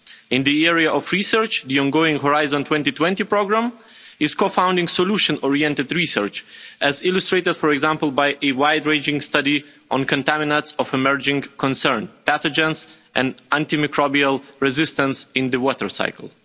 In the area of research, the ongoing Horizon 2020 programme is co-founding solution-oriented research, as illustrated, for example, by a wide-ranging study on contaminants of emerging concern, pathogens and antimicrobial resistance in the water cycle.